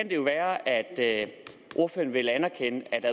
jo være at ordføreren vil anerkende at det